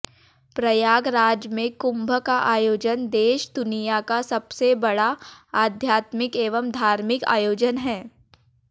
प्रयागराज में कुंभ का आयोजन देश दुनिया का सबसे बड़ा आध्यात्मिक एवं धार्मिक आयोजन है